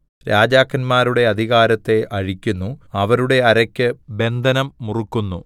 രാജാക്കന്മാരുടെ അധികാരത്തെ അഴിക്കുന്നു അവരുടെ അരയ്ക്ക് ബന്ധനം മുറുക്കുന്നു